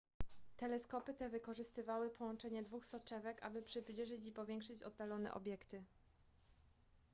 teleskopy te wykorzystywały połączenie dwóch soczewek aby przybliżyć i powiększyć oddalone obiekty